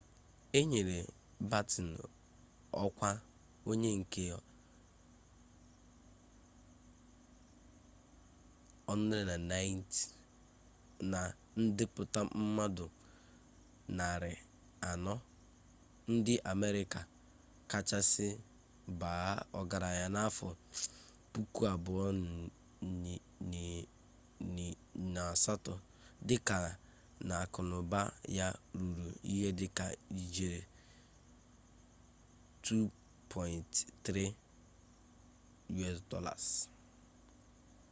e nyere batten ọkwa onye nke 190 na ndepụta mmadụ 400 ndị amerika kachasị baa ọgaranya n'afọ 2008 dịka na akụnaụba ya ruru ihe dịka ijeri $2.3